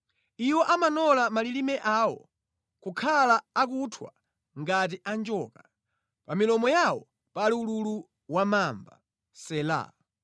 Iwo amanola malilime awo kukhala akuthwa ngati a njoka; pa milomo yawo pali ululu wa mamba. Sela